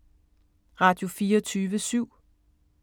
Radio24syv